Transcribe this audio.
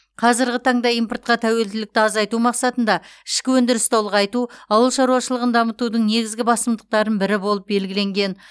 қазіргі таңда импортқа тәуелділікті азайту мақсатында ішкі өндірісті ұлғайту ауыл шаруашылығын дамытудың негізгі басымдықтарының бірі болып белгіленген